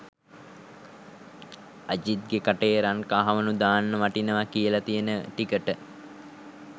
අජිත්ගෙ කටේ රන් කහවනු දාන්න වටිනව කියල තියෙන ටිකට